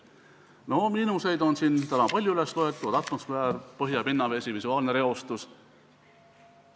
Miinuseid on siin täna palju üles loetud: atmosfääri ning põhja- ja pinnavee reostamine, visuaalne reostus.